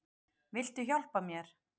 Viltu hjálpa mér?